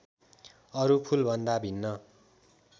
अरू फुलभन्दा भिन्न